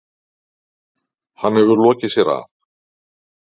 Hann hefur lokið sér af.